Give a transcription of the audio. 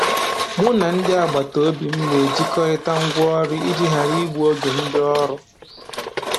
Mụ na ndị agbataobi m na-ejikọrịta ngwa ọrụ iji ghara igbu oge ndị ọrụ